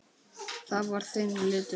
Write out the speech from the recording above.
Það var þinn litur.